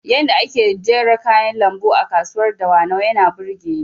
Yanda ake jera kayan lambu a kasuwar dawanau yana burgeni